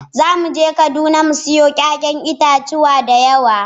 Za mu je kaduna mu sayo 'ya'yan itatuwa da yawa.